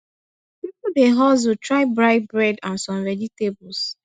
pipo dey hustle try buy bread and some vegetables